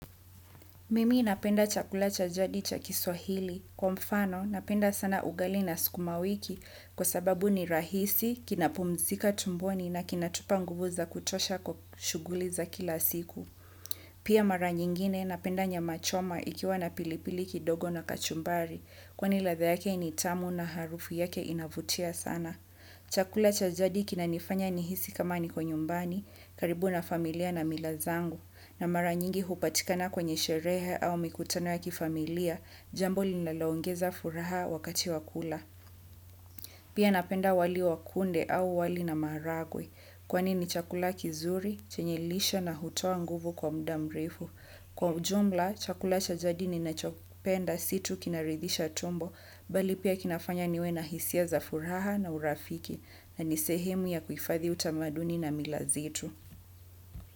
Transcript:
Mimi napenda chakula cha jadi cha kiswahili. Kwa mfano, napenda sana ugali na sukumawiki kwa sababu ni rahisi, kinapumzika tumboni na kinatupa nguvu za kutosha kwa shughuli za kila siku. Pia mara nyingine napenda nyama choma ikiwa na pilipili kidogo na kachumbari, kwani ladha yake ni tamu na harufu yake inavutia sana. Chakula cha jadi kinanifanya nihisi kama niko nyumbani, karibu na familia na mila zangu, na mara nyingi hupatikana kwenye sherehe au mikutano ya kifamilia, jambo linaloongeza furaha wakati wa kula. Pia napenda wali wa kunde au wali na maharagwe, kwani ni chakula kizuri, chenye lishe na hutoa nguvu kwa muda mrefu. Kwa ujumla, chakula cha jadi ninachopenda si tu kinaridhisha tumbo, bali pia kinafanya niwe na hisia za furaha na urafiki, na ni sehemu ya kuhifadhi utamaduni na mila zetu.